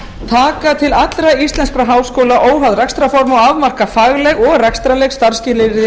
taka til allra íslenskra háskóla óháð rekstrarformi og afmarka fagleg og rekstrarleg starfsskilyrði